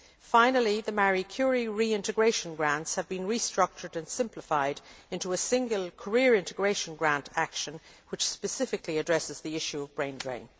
Finally, the Marie Curie reintegration grants have been restructured and simplified into a single career integration grant action which specifically addresses the issue of the brain drain.